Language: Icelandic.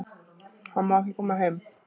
Hann má ekki koma heim